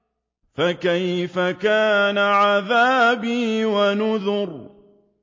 فَكَيْفَ كَانَ عَذَابِي وَنُذُرِ